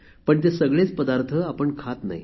पण ते सगळेच पदार्थ आपण खात नाही